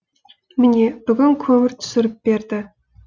міне бүгін көмір түсіріп берді